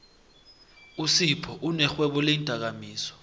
usiphou unerhwebo leendakamizwa